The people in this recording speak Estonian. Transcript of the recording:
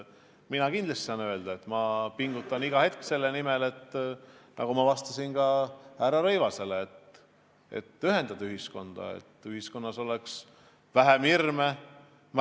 Mina saan öelda, et ma pingutan iga hetk selle nimel – kinnitasin seda ka härra Rõivasele vastates –, et ühendada ühiskonda, et ühiskonnas oleks vähem hirme.